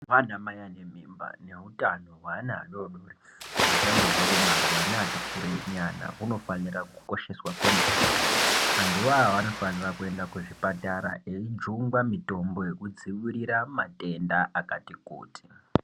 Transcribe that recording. Hutano hwana mai ane mimba nehutano nehwana adodori neachangobva kubarwa neati kureyi nyana hunofanirwa kukosheswa kwemene vantu vo vanofanirwa kuenda kuchipatara kuno jungwa mitombo yekudzivirira matenda akati kuti.